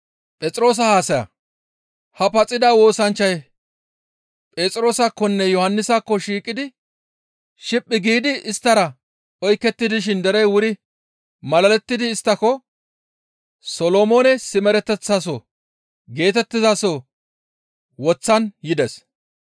Ha paxida woosanchchay Phexroosakkonne Yohannisakko shiphphi giidi isttara oyketti dishin derey wuri malalettidi isttako, «Solomoone simereteththaso» geetettizaso woththan yides.